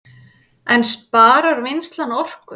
En sparar vinnslan orku